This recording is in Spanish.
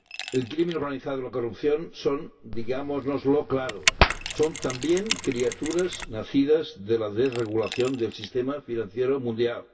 El crimen organizado y la corrupción son ―digámoslo claro― son también criaturas nacidas de la desregulación del sistema financiero mundial.